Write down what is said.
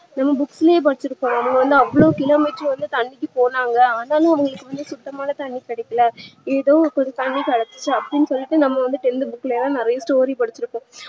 ஒரு book லே படிச்சி இருப்போம் அவங்க வந்து அவ்ளோ kilometer தண்ணீக்கி போனாங்க ஆனாலும் அவங்களுக்கு வந்து சுத்தமான தண்ணீ கிடைக்க ஏதோ ஒரு தண்ணீ கிடச்சிச்சி அப்டின்னு சொல்லிட்டு நம்ம வந்து tenth book லலா நிறைய story படிச்சிருப்போம்